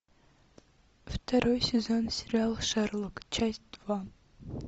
второй сезон сериала шерлок часть два